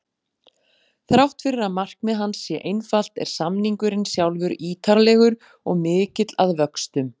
Þrátt fyrir að markmið hans sé einfalt er samningurinn sjálfur ítarlegur og mikill að vöxtum.